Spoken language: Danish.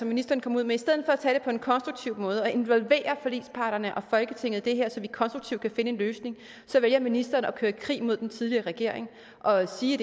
ministeren kom ud med på en konstruktiv måde og involvere forligsparterne og folketinget i det her så vi konstruktivt kan finde en løsning så vælger ministeren at køre en krig mod den tidligere regering og sige